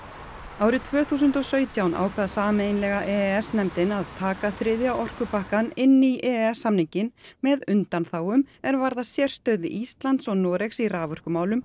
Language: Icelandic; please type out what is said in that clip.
árið tvö þúsund og sautján ákvað sameiginlega e e s nefndin að taka þriðja orkupakkann inn í e e s samninginn með undanþágum er varða sérstöðu Íslands og Noregs í raforkumálum